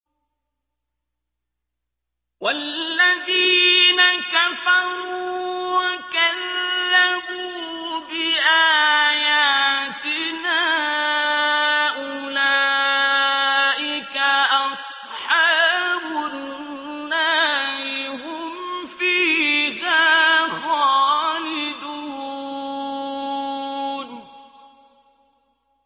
وَالَّذِينَ كَفَرُوا وَكَذَّبُوا بِآيَاتِنَا أُولَٰئِكَ أَصْحَابُ النَّارِ ۖ هُمْ فِيهَا خَالِدُونَ